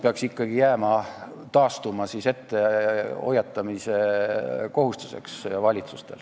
Peaks ikkagi taastuma valitsuse kohustus kuus kuud ette hoiatada.